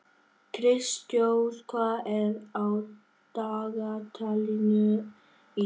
Kristrós, hvað er á dagatalinu í dag?